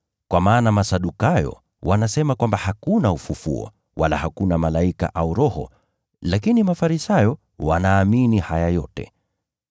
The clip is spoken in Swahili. (Kwa maana Masadukayo wanasema kwamba hakuna ufufuo, wala hakuna malaika au roho, lakini Mafarisayo wanaamini haya yote.)